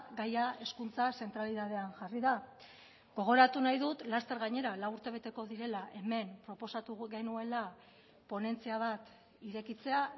gaia hezkuntza zentralitatean jarri da gogoratu nahi dut laster gainera lau urte beteko direla hemen proposatu genuela ponentzia bat irekitzea